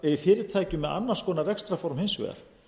fyrirtækjum með annars konar rekstrarform hins vegar